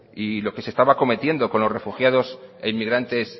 y lo que se estaba cometiendo con los refugiados e inmigrantes